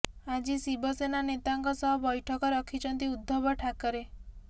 ଆଜି ଶିବସେନା ନେତାଙ୍କ ସହ ବୈଠକ ରଖିଛନ୍ତି ଉଦ୍ଧବ ଠାକରେ